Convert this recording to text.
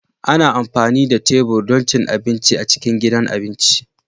Ana amfani da tebur don cin abinci a cikin gidan abinci